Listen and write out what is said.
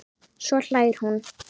Svo hlær hún.